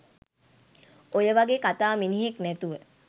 ඔය වගේ කතා මිනිහෙක් නැතුව